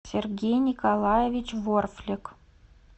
сергей николаевич ворфлик